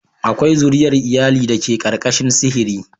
Akwai zuriyar iyali da ke ƙarƙashin sihiri.